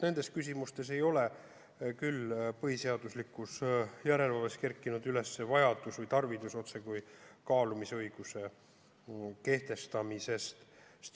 Nendes küsimustes ei ole küll põhiseaduslikus järelevalves kerkinud üles vajadust või tarvidust kaalumisõiguse kehtestamisest.